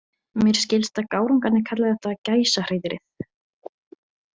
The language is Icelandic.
Mér skilst að gárungarnir kalli þetta Gæsahreiðrið.